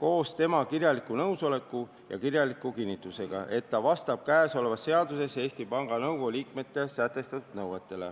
koos tema kirjaliku nõusoleku ja kirjaliku kinnitusega, et ta vastab käesolevas seaduses Eesti Panga Nõukogu liikmele sätestatud nõuetele.